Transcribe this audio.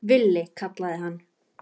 Villi kallaði hann.